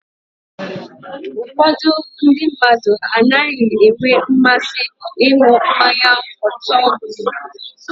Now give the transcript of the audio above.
Ụfọdụ ndị mmadụ anaghị enwe mmasị ịṅụ mmanya ọtọọ biribiri.